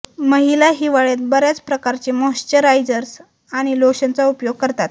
महिला हिवाळ्यात बऱ्याच प्रकारचे मॉश्चराइजर्स आणि लोशनचा उपयोग करतात